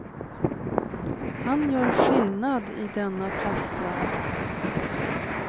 Han gör skillnad i denna plastvärld.